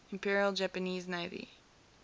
imperial japanese navy